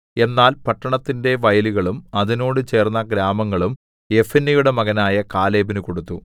എന്നാൽ പട്ടണത്തിന്റെ വയലുകളും അതിനോട് ചേർന്ന ഗ്രാമങ്ങളും യെഫുന്നെയുടെ മകനായ കാലേബിന് കൊടുത്തു